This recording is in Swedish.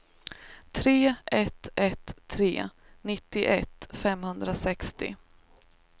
tre ett ett tre nittioett femhundrasextio